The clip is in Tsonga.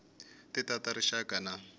ti ta ta rixaka na